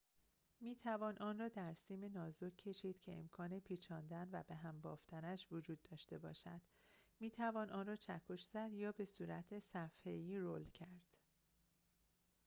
می‌توان آن را در سیم نازک کشید که امکان پیچاندن و به‌هم بافتنش وجود داشته باشد می‌توان آن را چکش زد یا بصورت صفحه‌ای رول کرد